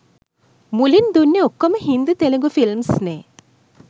මුලින් දුන්නේ ඔක්කොම හින්දි තෙලිඟු ෆිල්ම්ස්නේ.